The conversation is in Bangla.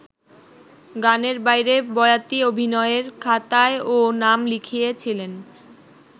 গানের বাইরে বয়াতি অভিনয়ের খাতায়ও নাম লিখিয়েছিলেন।